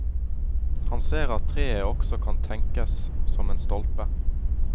Han ser at treet også kan tenkes som en stolpe.